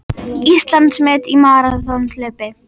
Íslandsmet í maraþonhlaupi